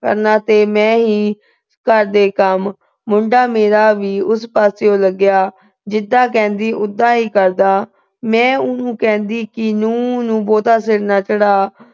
ਕਰਨਾ ਤੇ ਮੈਂ ਹੀ ਘਰ ਦੇ ਕੰਮ। ਮੁੰਡਾ ਮੇਰਾ ਵੀ ਉਸ ਪਾਸੇਂ ਹੀ ਲੱਗਿਆ। ਜਿਦਾ ਕਹਿੰਦੀ, ਉਦਾਂ ਹੀ ਕਰਦਾ। ਮੈਂ ਉਹਨੂੰ ਕਹਿੰਦੀ ਕਿ ਨੂੰਹ ਨੂੰ ਬਹੁਤਾ ਸਿਰ ਨਾ ਚੜ੍ਹਾ।